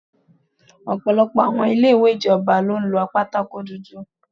Ọ̀pọ̀lọpọ̀ àwọn ilé ìwé ìjọba ni ó lo pátákó dúdú.